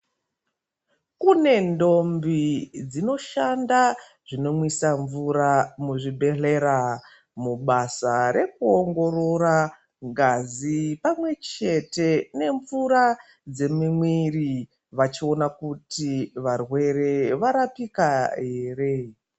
Kune ndombi dzinoshanda zvinomwisa mvura muzvibhedhlera mubasa rekuongorora ngazi pamwechete nemvura dzemumwiri vachiona kuti varwere varapika here.